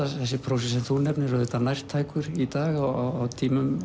þessi prósi sem þú nefnir auðvitað nærtækur í dag á tímum